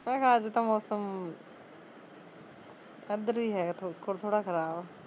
ਪਰ ਅੱਜ ਤਾਂ ਮੋਸਮ ਏਦਰ ਵੀ ਹੈਗਾ ਥੋੜਾ ਥੋੜਾ ਖਰਾਬ